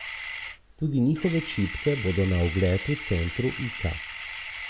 Tudi njihove čipke bodo na ogled v centru Ika.